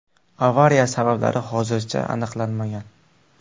Avariya sabablari hozircha aniqlanmagan.